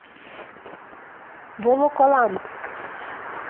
волоколамск